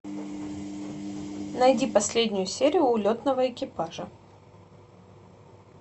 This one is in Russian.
найди последнюю серию улетного экипажа